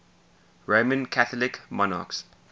roman catholic monarchs